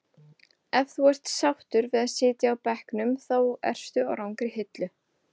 Ef þú ert sáttur við að sitja á bekknum þá ertu á rangri hillu.